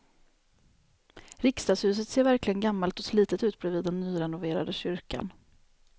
Riksdagshuset ser verkligen gammalt och slitet ut bredvid den nyrenoverade kyrkan.